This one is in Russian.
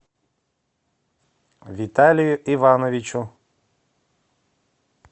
виталию ивановичу